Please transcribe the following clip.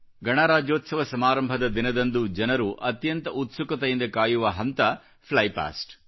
ಗಣರಾಜ್ಯೋತ್ಸವ ಸಮಾರಂಭದ ದಿನದಂದು ಜನರು ಅತ್ಯಂತ ಉತ್ಸುಕತೆಯಿಂದ ಕಾಯುವ ಹಂತ ಫ್ಲೈ ಪಾಸ್ಟ್